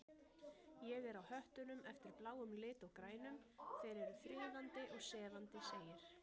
Ég er á höttunum eftir bláum lit og grænum, þeir eru friðandi og sefandi segir